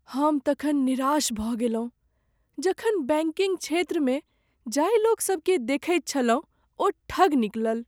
हम तखन निराश भऽ गेलहुँ जखन बैंकिंग क्षेत्रमे जाहि लोकसभकेँ देखैत छलहुँ ओ ठग निकलल।